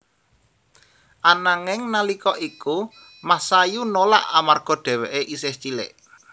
Ananging nalika iku Masayu nolak amarga dheweké isih cilik